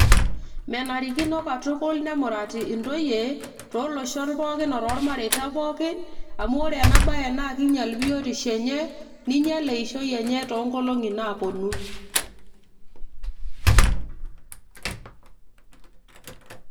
menarikino katukul nemurati intoyie tooloshon pookin otormareita pookin amu ore ena baye naa kinyial biotisho enye ninyial eishoi enye toonkolong'i naaponu.